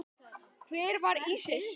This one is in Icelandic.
Hver var Ísis?